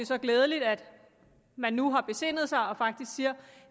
så glædeligt at man nu har besindet sig og faktisk siger